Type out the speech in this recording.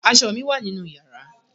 Aṣọ mi wà nínú yàrá.